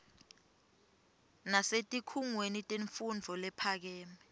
nasetikhungweni temfundvo lephakeme